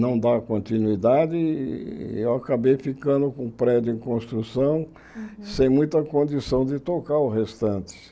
não dá continuidade e eu acabei ficando com o prédio em construção sem muita condição de tocar o restante.